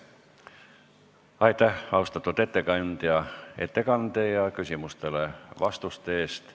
Aitäh, austatud ettekandja, ettekande ja vastuste eest!